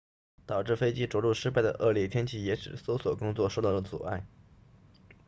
导致飞机着陆失败的恶劣天气也使搜索工作受到了阻碍